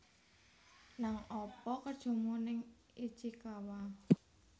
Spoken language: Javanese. Nang apa kerjomu ning Ichikawa